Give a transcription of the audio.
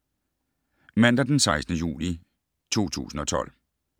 Mandag d. 16. juli 2012